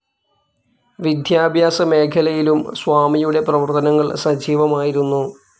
വിദ്യാഭ്യാസ മേഖലയിലും സ്വാമിയുടെ പ്രവർത്തനങ്ങൾ സജീവമായിരുന്നു.